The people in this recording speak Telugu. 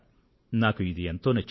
నాకు ఇది ఎంతో నచ్చింది